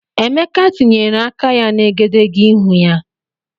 Emeka tinyere aka ya na egedegeihū ya.